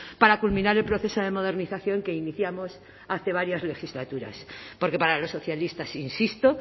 para culminar el proceso de modernización que iniciamos hace varias legislaturas porque para los socialistas insisto